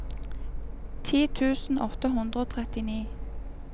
ti tusen åtte hundre og trettini